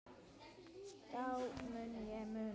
Það mun ég muna.